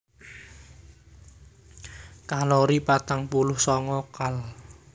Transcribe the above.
Kalori patang puluh sanga kal